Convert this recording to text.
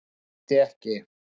Gæti ekki